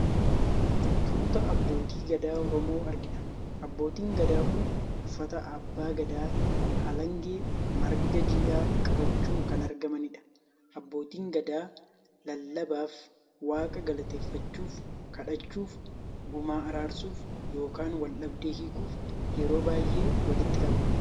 Tuuta abbootii gadaa Oromoo argina. Abbootiin gadaa kun uffata abbaa gadaa, halangee fi marga jiidhaa qabachuun kan argamaniidha. Abbootiin gadaa lallabaaf, waaqa galateeffachuuf, kadhachuuf, gumaa araarsuuf yookaan wal dhabdee hiikuuf yeroo baay'ee walitti qabamu.